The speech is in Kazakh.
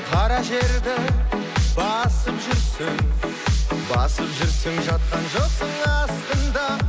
қара жерді басып жүрсің басып жүрсің жатқан жоқсың астында